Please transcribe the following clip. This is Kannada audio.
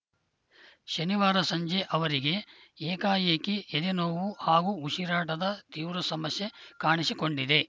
ಶನಿವಾರ ಸಂಜೆ ಅವರಿಗೆ ಏಕಾಏಕಿ ಎದೆನೋವು ಹಾಗೂ ಉಸಿರಾಟದ ತೀವ್ರ ಸಮಸ್ಯೆ ಕಾಣಿಸಿಕೊಂಡಿದೆ